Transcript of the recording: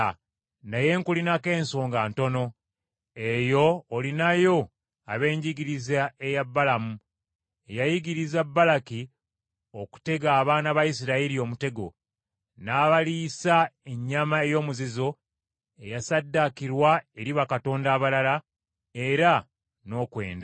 Naye nkulinako ensonga ntono: eyo olinayo ab’enjigiriza eya Balamu eyayigiriza Balaki okutega abaana ba Isirayiri omutego n’abaliisa ennyama ey’omuzizo eyassaddaakirwa eri bakatonda abalala, era n’okwenda.